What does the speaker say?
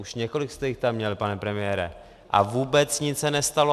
Už několik jste jich tam měl, pane premiére a vůbec nic se nestalo.